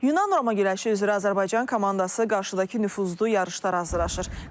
Yunan-Roma güləşi üzrə Azərbaycan komandası qarşıdakı nüfuzlu yarışlara hazırlaşır.